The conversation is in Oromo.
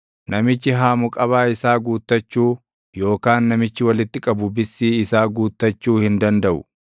namichi haamu qabaa isaa guuttachuu, yookaan namichi walitti qabu bissii isaa guuttachuu hin dandaʼu.